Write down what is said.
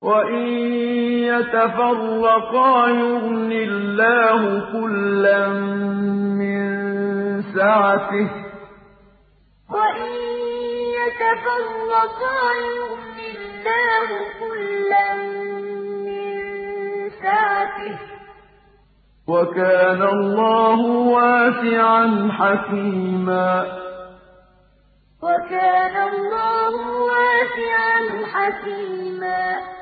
وَإِن يَتَفَرَّقَا يُغْنِ اللَّهُ كُلًّا مِّن سَعَتِهِ ۚ وَكَانَ اللَّهُ وَاسِعًا حَكِيمًا وَإِن يَتَفَرَّقَا يُغْنِ اللَّهُ كُلًّا مِّن سَعَتِهِ ۚ وَكَانَ اللَّهُ وَاسِعًا حَكِيمًا